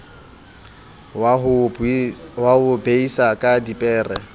wa ho beisa ka dipere